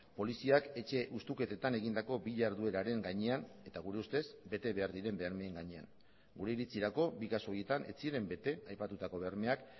poliziak etxe hustuketetan egindako bi jardueraren gainean eta gure ustez betebehar diren bermeen gainean gure iritzirako bi kasu horietan ez ziren bete aipatutako bermeak